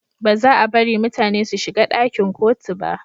Ba za a bari mutane su shiga dakin kotu ba